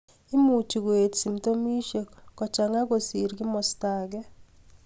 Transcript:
Imuchi koet symptomishek koschanya kosing kimasta age